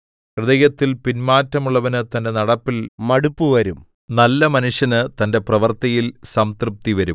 ഹൃദയത്തിൽ പിന്മാറ്റമുള്ളവന് തന്റെ നടപ്പിൽ മടുപ്പുവരും നല്ല മനുഷ്യന് തന്റെ പ്രവൃത്തിയാൽ സംതൃപ്തി വരും